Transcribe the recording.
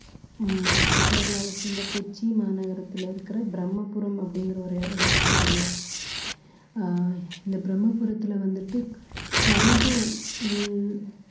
உம் கேரளாவை சேர்ந்த கொச்சி மாநகரத்துல இருக்கிற பிரம்மபுரம் அப்படிங்கிற ஒரு இடத்தை பத்திங்க ஆஹ் இந்த பிரம்மபுரத்துல வந்துட்டு கழிவு உள்